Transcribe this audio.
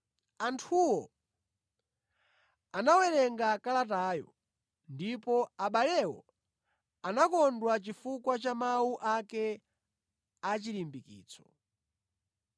Anthuwo anawerenga kalatayo ndipo abalewo anakondwa chifukwa cha mawu ake achirimbikitso.